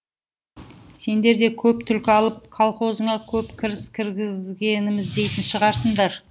сендер де көп түлкі алып колхозыңа көп кіріс кіргіземіз дейтін шығарсың